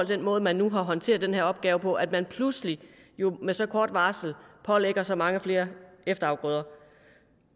den måde man nu har håndteret den her opgave på altså at man pludselig med så kort varsel pålægger så mange flere efterafgrøder